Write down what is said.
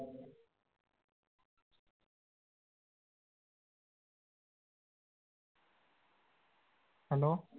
hello?